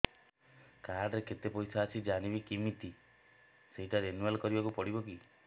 card ରେ କେତେ ପଇସା ଅଛି ଜାଣିବି କିମିତି ସେଟା ରିନୁଆଲ କରିବାକୁ ପଡ଼ିବ କି